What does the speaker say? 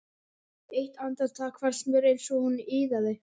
Eitt andartak fannst mér eins og hún iðaði.